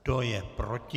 Kdo je proti?